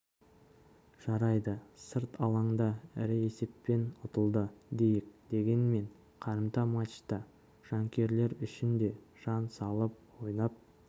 жарайды сырт алаңда ірі есеппен ұтылды дейік дегенмен қарымта матчта жанкүйерлер үшін де жан салып ойнап